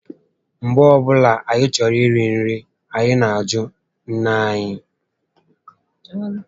Mgbe ọbụla anyị chọrọ iri nri, anyị nà ajụ nné anyị